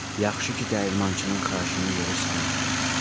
Yaxşı ki, dəyirmançının xahişini yerə salmadım.